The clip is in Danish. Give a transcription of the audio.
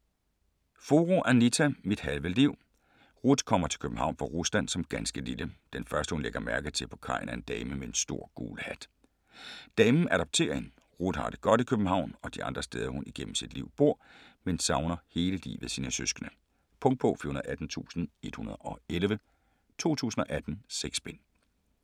Furu, Anita: Mit halve liv Ruth kommer til København fra Rusland som ganske lille. Den første hun lægger mærke til på kajen er en dame med en stor gul hat. Damen adopterer hende. Ruth har det godt i København og de andre steder hun igennem sit liv bor, men hun savner hele livet sine søskende. Punktbog 418111 2018. 6 bind.